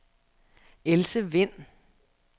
Else Wind